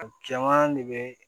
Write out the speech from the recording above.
A caman de bɛ